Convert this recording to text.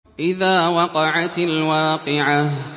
إِذَا وَقَعَتِ الْوَاقِعَةُ